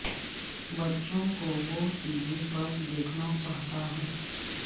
بچوں کو وہ ٹی وی پر دیکھنا چاہتا ہے